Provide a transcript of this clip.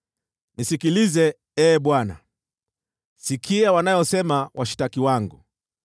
Nisikilize, Ee Bwana , sikia wanayosema washtaki wangu!